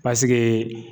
Pasike